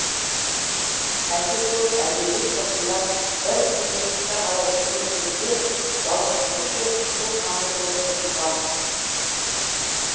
әлде төрт әлде бес жасында бір біріне пышақ ала жүгіргенде бала тұңғыш рет қызыл қанды көріп шошынған